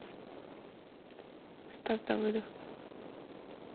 стас давыдов